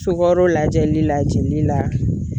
Sukɔro lajɛli la jeli la